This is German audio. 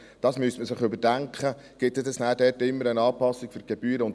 Also: Man müsste überdenken, ob es dort immer wieder eine Anpassung der Gebühren gibt.